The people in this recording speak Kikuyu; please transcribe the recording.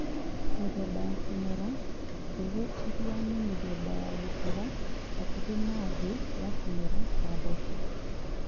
Mĩthemba ya kũmera: mbegũ ĩrĩa nĩ mĩthemba ya gũkũra hakuhĩ na thĩ ya kũmera ta mboco